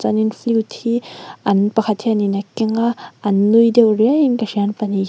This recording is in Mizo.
chuanin flute hi an pakhat hian in a keng a an nui deuh riau in ka hria an pahnih hian--